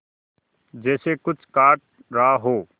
जैसे कुछ काट रहा हो